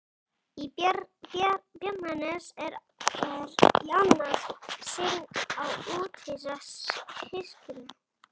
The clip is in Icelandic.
Í Bjarnanes í annað sinn að úthýsa hyskinu.